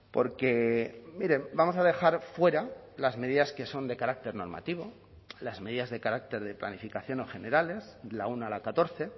porque mire vamos a dejar fuera las medidas que son de carácter normativo las medidas de carácter de planificación o generales la uno a la catorce